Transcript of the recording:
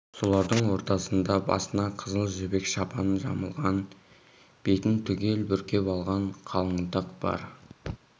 солардың ортасында басына қызыл жібек шапан жамылған бетін түгел бүркеп алған қалыңдық бар